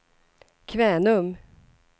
Kvänum